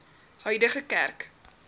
huidige kerk